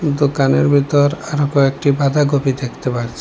দোকানের ভিতর আরো কয়েকটি বাঁধাকপি দেখতে পারছি।